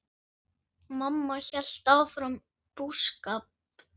Mamma hélt áfram búskap.